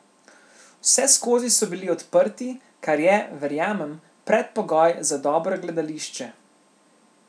Vseskozi so bili odprti, kar je, verjamem, predpogoj za dobro gledališče.